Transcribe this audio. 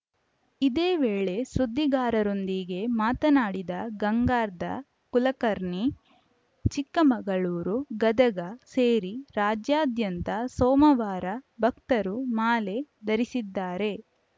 ಇದೇ ವೇಳೆ ಸುದ್ದಿಗಾರರೊಂದಿಗೆ ಮಾತನಾಡಿದ ಗಂಗಾಧರ್‌ ಕುಲಕರ್ಣಿ ಚಿಕ್ಕಮಗಳೂರು ಗದಗ ಸೇರಿ ರಾಜ್ಯಾದ್ಯಂತ ಸೋಮವಾರ ಭಕ್ತರು ಮಾಲೆ ಧರಿಸಿದ್ದಾರೆ